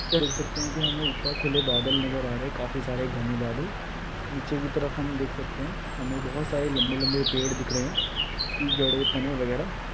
--देख सकते है कि हमें ऊपर खुले बादल नज़र आ रहे है काफी सारे घने बादल निचे की तरफ हम देख सकते है हमें बहुत सारे लंबे लंबे पेड़ दिख रहे है उसकी जड़े तने वगैरह --